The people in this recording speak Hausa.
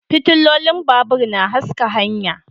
Fitilolin babur na haska hanya